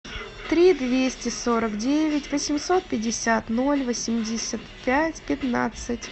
три двести сорок девять восемьсот пятьдесят ноль восемьдесят пять пятнадцать